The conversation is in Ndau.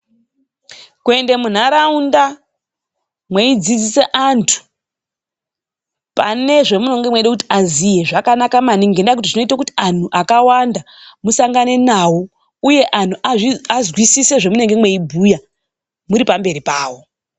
Kuende munharaunda mweidzidzise antu pane zvamunenge mweida kuti aziye, zvakanaka maningi. Ngendaa yekuti zvineite kuti antu akawanda musangane nawo. Uye antu azwisise zvemunenge mweibhuya muri pamberi pawo.